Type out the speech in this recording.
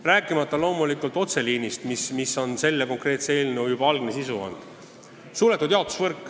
Ja ma ei räägigi otseliinist, mis on selle eelnõu algne sisu olnud.